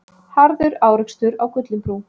Harður árekstur á Gullinbrú